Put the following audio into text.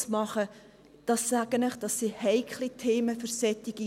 Ich kann Ihnen sagen, dass das für solche Kulturen heikle Themen sind.